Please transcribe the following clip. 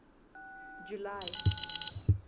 july